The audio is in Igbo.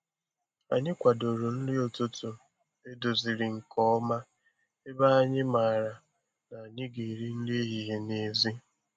Anyị kwadoro nri ụtụtụ edoziri nke ọma ebe anyị maara na anyị ga-eri nri ehihie n'èzí.